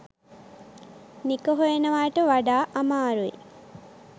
නික හොයනවාට වඩා අමාරුයි.